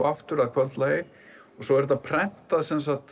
aftur að kvöldlagi og svo er þetta prentað